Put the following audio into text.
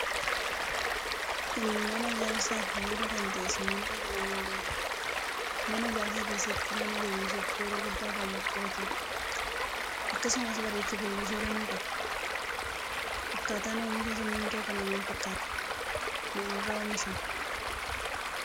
Kun mana ijaarsaf bu'uura kan tahee simmintoo jedhamuun beekama. Mana ijaarsa keessatti mana jabeessuf shora guddaa kan taphatuudha. Akkasumas bareechufille shora ni qaba. Akkaatan omisha simmintoo kana maal fakkaata? Maalirra omishama?